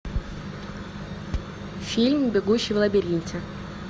фильм бегущий в лабиринте